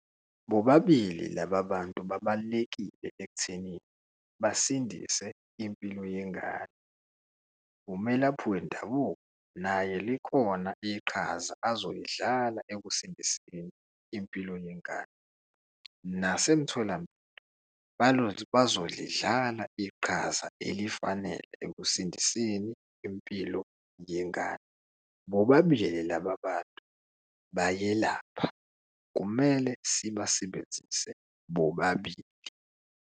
Bobabili laba bantu babalulekile ekutheni basindise impilo yengane. Umelaphi wendabuko naye likhona iqhaza azoyidlala ekusindiseni impilo yengane nasemtholampilo bazolidlala iqhaza elifanele ekusindiseni impilo yengane. Bobabili laba bantu bayelapha kumele sibasebenzise bobabili.